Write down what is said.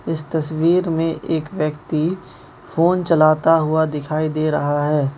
इस तस्वीर में एक व्यक्ति फोन चलाता हुआ दिखाई दे रहा है।